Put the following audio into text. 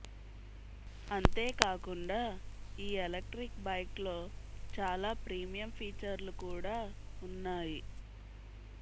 అంతే కాకుండా ఈ ఎలక్ట్రిక్ బైక్లో చాలా ప్రీమియం ఫీచర్లు కూడా ఉన్నాయి